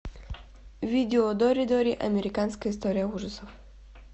видео доридори американская история ужасов